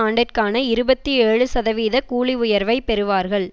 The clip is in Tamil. ஆண்டிற்காக இருபத்தி ஏழு சதவீத கூலி உயர்வை பெறுவார்கள்